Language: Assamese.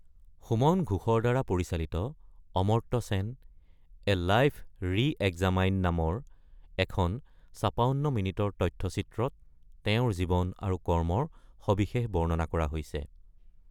সুমন ঘোষৰ দ্বাৰা পৰিচালিত ‘Amartya Sen: a life re-examined’ নামৰ এখন ৫৬ মিনিটৰ তথ্যচিত্ৰত তেওঁৰ জীৱন আৰু কৰ্মৰ সবিশেষ বৰ্ণনা কৰা হৈছে।